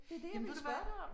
Jamen ved du hvad